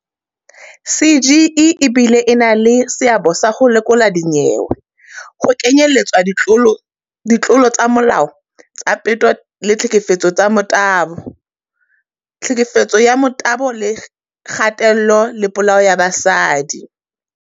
"CGE e bile e na le seabo sa ho lekola dinyewe, ho kenyeletswa ditlolo tsa molao tsa peto le ditlhekefetso ka thobalano, tlhekefetso ka motabo le kgatello le polao ya basadi."